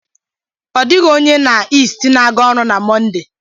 Ọ dịghị onye na East na-aga ọrụ na Monday